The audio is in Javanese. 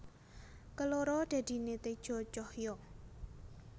Keloro dadine teja cahya